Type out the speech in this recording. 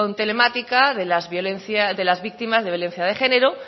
telemática de las víctimas de violencia de género